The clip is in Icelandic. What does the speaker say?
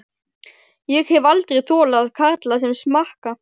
Ég hef aldrei þolað karla sem smakka.